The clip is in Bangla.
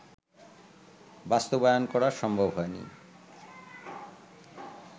বাস্তবায়ন করা সম্ভব হয়নি